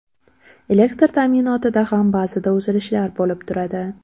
Elektr ta’minotida ham ba’zida uzilishlar bo‘lib turadi.